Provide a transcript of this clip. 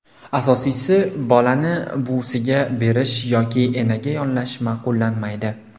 Asosiysi, bolani buvisiga berish yoki enaga yollash ma’qullanmaydi.